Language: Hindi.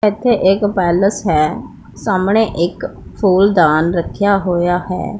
एथे एक पैलेस है सामणे एक फूलदान रख्या होया है।